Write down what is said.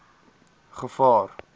gevaar